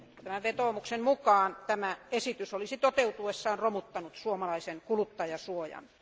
Tämän vetoomuksen mukaan esitys olisi toteutuessaan romuttanut suomalaisen kuluttajansuojan.